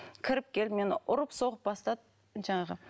кіріп келіп мені ұрып соғып бастады жаңағы